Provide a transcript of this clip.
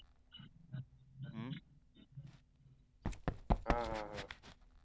हम्म हम्म अं